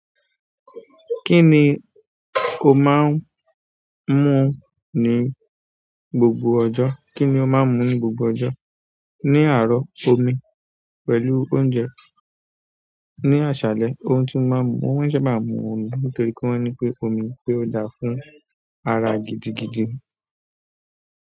Kíni o máa ń mú ní gbogbo ọjọ́? Kíni o máa ń mú ní gbogbo ọjọ́? Ní àárọ̀, omi pẹ̀lú oúnjẹ. Ní àṣálẹ́, òun ti mo máa ń mu-- mo máa n sábà mu omi nítorí pé wọ́n ní pé omi pé ó dára fún ara gidigidi.